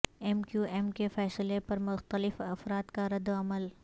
M Q M کے فیصلے پر مختلف افراد کا رد عمل